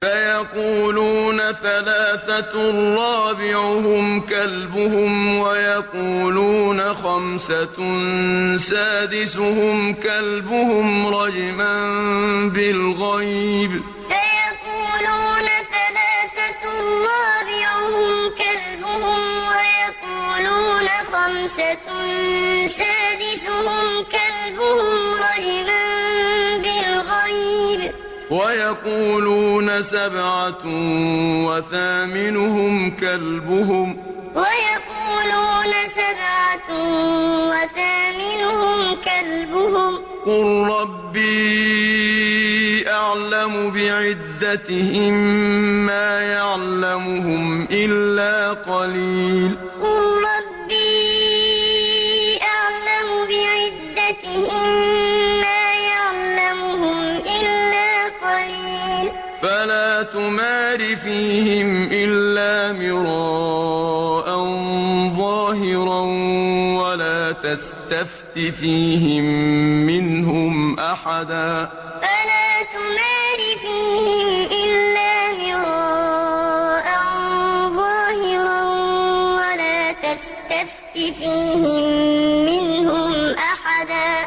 سَيَقُولُونَ ثَلَاثَةٌ رَّابِعُهُمْ كَلْبُهُمْ وَيَقُولُونَ خَمْسَةٌ سَادِسُهُمْ كَلْبُهُمْ رَجْمًا بِالْغَيْبِ ۖ وَيَقُولُونَ سَبْعَةٌ وَثَامِنُهُمْ كَلْبُهُمْ ۚ قُل رَّبِّي أَعْلَمُ بِعِدَّتِهِم مَّا يَعْلَمُهُمْ إِلَّا قَلِيلٌ ۗ فَلَا تُمَارِ فِيهِمْ إِلَّا مِرَاءً ظَاهِرًا وَلَا تَسْتَفْتِ فِيهِم مِّنْهُمْ أَحَدًا سَيَقُولُونَ ثَلَاثَةٌ رَّابِعُهُمْ كَلْبُهُمْ وَيَقُولُونَ خَمْسَةٌ سَادِسُهُمْ كَلْبُهُمْ رَجْمًا بِالْغَيْبِ ۖ وَيَقُولُونَ سَبْعَةٌ وَثَامِنُهُمْ كَلْبُهُمْ ۚ قُل رَّبِّي أَعْلَمُ بِعِدَّتِهِم مَّا يَعْلَمُهُمْ إِلَّا قَلِيلٌ ۗ فَلَا تُمَارِ فِيهِمْ إِلَّا مِرَاءً ظَاهِرًا وَلَا تَسْتَفْتِ فِيهِم مِّنْهُمْ أَحَدًا